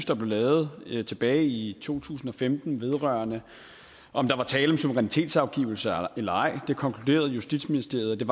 der blev lavet tilbage i to tusind og femten vedrørende om der var tale om suverænitetsafgivelse eller ej det konkluderede justitsministeriet at der